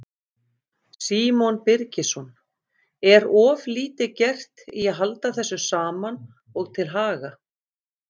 Símon Birgisson: Er of lítið gert í að halda þessu saman og til haga?